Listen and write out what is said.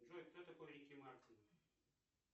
джой кто такой рики мартин